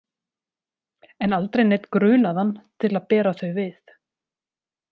En aldrei neinn grunaðan til að bera þau við.